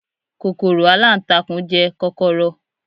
kòkòrò alantakun je kọkọrọ